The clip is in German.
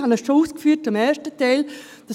Ich habe es bereits zum ersten Teil ausgeführt: